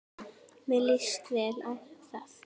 Mér líst vel á þá.